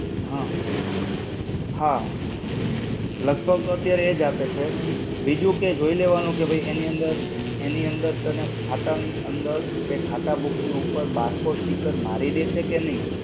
હા. હા. લગભગ તો અત્યારે એ જ આપે છે, બિજુ કે જોઈ લેવાનું કે એની અંદર, એની અંદર તને ખાતા ની અંદર કે ખાતા book ની ઉપર barcode sticker મારી ડે છે કે નઈ?